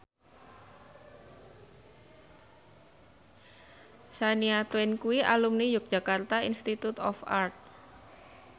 Shania Twain kuwi alumni Yogyakarta Institute of Art